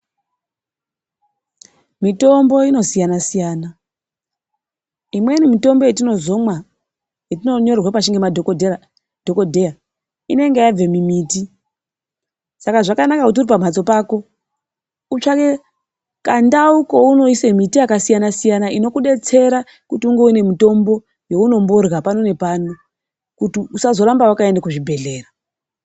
Mitombo inosiyana siyana. Imweni mitombo yatinotinozomwa yetinonyorerwa pashi ngemadhokodheya inenge yabve mumiti, saka zvakanaka kuti uri pamhatso pako utsvake kandau kaunoisa miti yakasiyana siyana inokudetsera kuti unge une mitombo yaunomborya pano nepano kuti usazorambe wakaende kuzvibhehlera.